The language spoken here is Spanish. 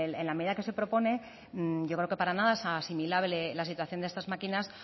en la medida que se propone yo creo que para nada es asimilable la situación de estas máquinas